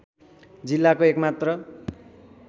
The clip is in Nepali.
जिल्लाको एकमात्र